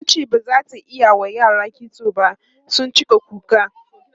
tace bazata iyawa yara kitso ba sun cika kuka.